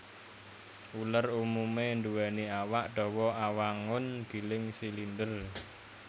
Uler umumé nduwèni awak dawa awangun gilig silinder